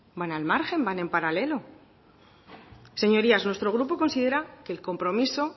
van al margen van en paralelo señorías nuestro grupo considera que el compromiso